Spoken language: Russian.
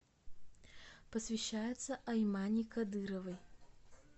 посвящается аймани кадыровой